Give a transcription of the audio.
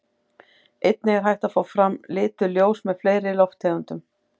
Einnig er hægt að fá fram lituð ljós með fleiri lofttegundum.